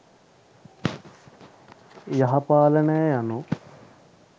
යහ පාලනය යනු